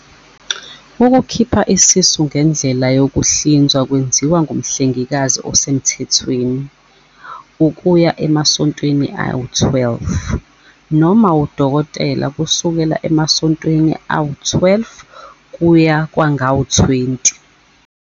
Ukukhipha isisu ngendlela yokuhlinzwa kwenziwa ngumhlengikazi osemthethweni, ukuya emasontweni ayi-12, noma udokotela, kusuka emasontweni ayi-12 kuya kwangama-20.